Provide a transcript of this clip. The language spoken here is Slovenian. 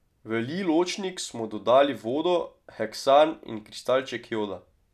V lij ločnik smo dodali vodo, heksan in kristalček joda.